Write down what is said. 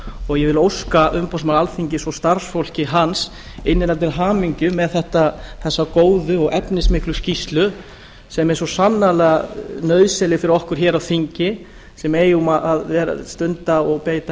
og ég vil óska umboðsmanni alþingis og starfsfólki hans innilega til hamingju með þessa góðu og efnismiklu skýrslu sem er svo sannarlega nauðsynleg fyrir okkur hér á þingi sem eigum að stunda og beita